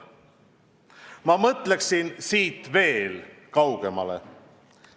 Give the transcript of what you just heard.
" Ma mõtleksin siit veel kaugemale.